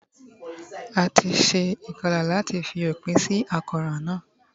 A ti se ìkolà láàti fi òpinsí àkóràn náà